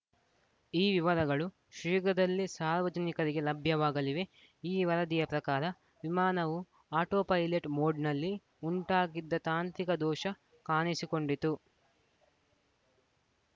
ಈ ವಿವರಗಳು ಶೀಘ್ರದಲ್ಲೇ ಸಾರ್ವಜನಿಕರಿಗೆ ಲಭ್ಯವಾಗಲಿವೆ ಈ ವರದಿಯ ಪ್ರಕಾರ ವಿಮಾನವು ಆಟೋ ಪೈಲಟ್‌ ಮೋಡ್‌ನಲ್ಲಿ ಉಂಟಾಗಿದ್ದ ತಾಂತ್ರಿಕ ದೋಷ ಕಾಣಿಸಿಕೊಂಡಿತು